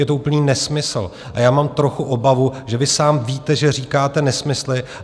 Je to úplný nesmysl a já mám trochu obavu, že vy sám víte, že říkáte nesmysly.